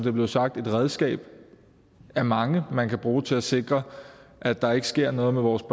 er blevet sagt et redskab af mange som man kan bruge til at sikre at der ikke sker noget med vores